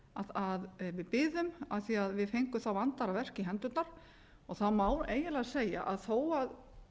að við biðum af því að við fengum þá vandaðra verk í hendurnar og það má eiginlega segja að þó að